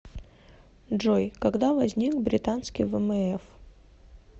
джой когда возник британский вмф